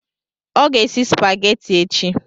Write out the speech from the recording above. Ọ ga-esi spageti echi.